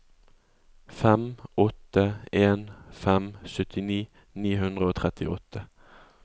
fem åtte en fem syttini ni hundre og trettiåtte